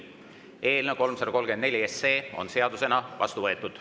Eelnõu 334 on seadusena vastu võetud.